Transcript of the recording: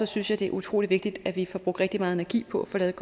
synes jeg det er utrolig vigtigt at vi får brugt rigtig meget energi på at få lavet